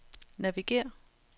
navigér